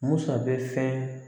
Musa bɛ fɛn